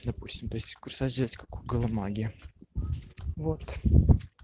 допустим то есть курсач взять как у голымаги воот